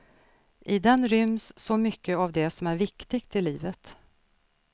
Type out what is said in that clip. I den ryms så mycket av det som är viktigt i livet.